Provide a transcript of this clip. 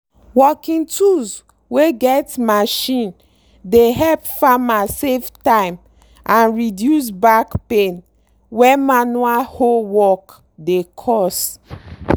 working tools wey get machine dey help farmer save time and reduce back pain wey manual hoe work dey cause.